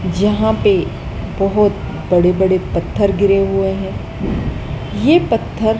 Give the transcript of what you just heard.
यहां पे बहुत बड़े-बड़े पत्थर गिरे हुए हैं ये पत्थर --